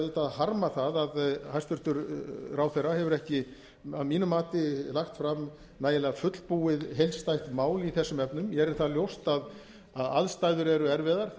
harma það að hæstvirtur ráðherra hefur ekki að mínu mati lagt fram nægilega fullbúið heildstætt mál í þessum efnum mér er það ljóst að aðstæður eru erfiðar